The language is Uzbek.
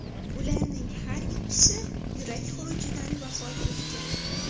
Ularning har ikkisi yurak xurujidan vafot etgan.